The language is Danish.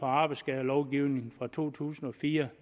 arbejdsskadelovgivningen fra to tusind og fire